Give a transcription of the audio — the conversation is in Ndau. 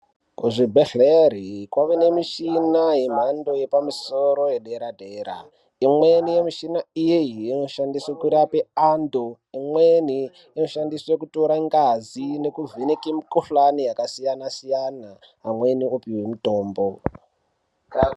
Kuzvibhedhlere kwaane michina yepamusoro, yedera-dera. Imweni mishini iyi inoshandiswe kurape antu, imweni inoshandiswe kutora ngazi nekuvheneke mikhuhlani yakasiyana-siyana, amweni opihwe mitombo.